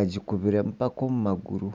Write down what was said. agikubire mpaka omu maguru.